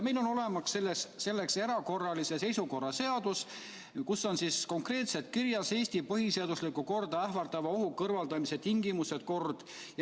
Meil on olemas selleks erakorralise seisukorra seadus, kus on konkreetselt kirjas Eesti põhiseaduslikku korda ähvardava ohu kõrvaldamise tingimused ja kord.